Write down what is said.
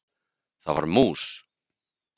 Það var mús!